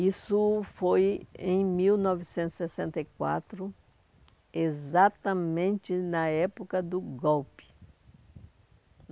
Isso foi em mil novecentos e sessenta e quatro, exatamente na época do golpe.